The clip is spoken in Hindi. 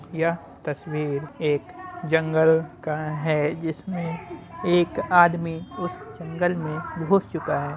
यह तस्वीर एक जंगल का है जिसमें एक आदमी उस जंगल में घुस चुका है।